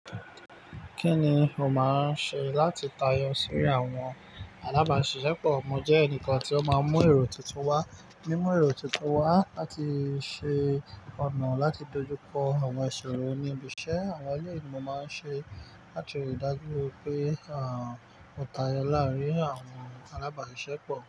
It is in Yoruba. Kí ni o máa ń ṣe láti tayọ sínú àwọn alábàáṣiṣẹ́pọ̀? Mo jẹ́ ẹnìkan tí ó máa ń mú èrò tuntun wá, mímú èrò tuntun wá láti ṣe ọ̀nà láti dojú kọ àwọn iṣòrò ní ibi iṣẹ́. Àwọn eleyii ni mo máa ń ṣe láti rí i dájú pé àwọn mo tayọ láàárín àwọn alábáṣiṣẹ́pọ̀.